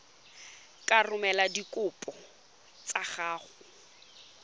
ka romela dikopo tsa gago